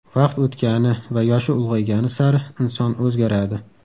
Vaqt o‘tgani va yoshi ulg‘aygani sari inson o‘zgaradi.